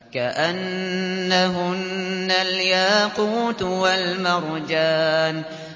كَأَنَّهُنَّ الْيَاقُوتُ وَالْمَرْجَانُ